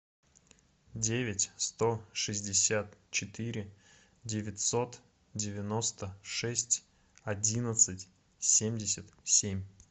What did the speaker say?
девять сто шестьдесят четыре девятьсот девяносто шесть одиннадцать семьдесят семь